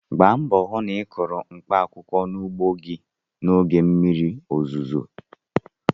Gba mbọ hụ na ị kụrụ mkpaakwụkwọ n'ugbo gị n'oge mmiri ozuzo!